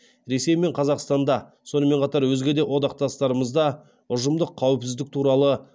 ресей мен қазақстанда сонымен қатар өзге де одақтастарымызда ұжымдық қауіпсіздік туралы